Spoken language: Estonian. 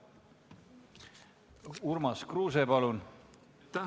Urmas Kruuse, palun!